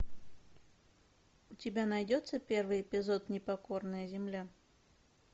у тебя найдется первый эпизод непокорная земля